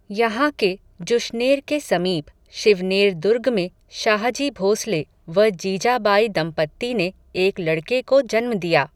यहाँ के जुश्नेर के समीप, शिवनेर दुर्ग में, शाहजी भोसले, व जीजाबाई दंपत्ति ने, एक लड़के को जन्म दिया